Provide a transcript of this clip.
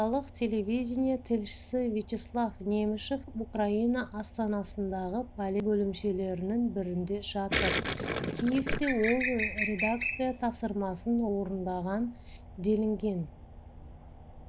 орталық телевидение тілшісівячеслав немышев украина астанасындағы полиция бөлімшелерінің бірінде жатыр киевте ол редакция тапсырмасын орындаған делінген